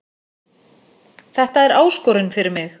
Þetta er áskorun fyrir mig